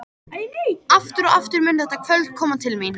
Aftur og aftur mun þetta kvöld koma til mín.